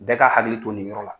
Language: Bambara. Bɛɛ ka hakili to nin yɔrɔ la.